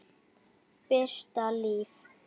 Birta Líf.